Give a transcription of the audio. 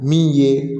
Min ye